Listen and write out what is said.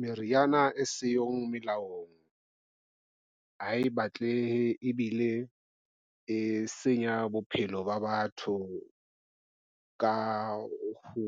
Meriana e siyo melaong ha e batlehe ebile e senya bophelo ba batho ka ho